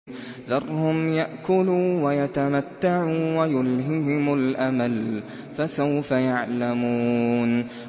ذَرْهُمْ يَأْكُلُوا وَيَتَمَتَّعُوا وَيُلْهِهِمُ الْأَمَلُ ۖ فَسَوْفَ يَعْلَمُونَ